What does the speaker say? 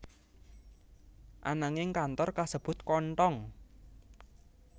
Ananging kantor kasebut kothong